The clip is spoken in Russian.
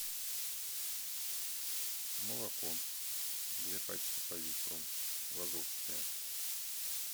молоко две пачки по литру лазовское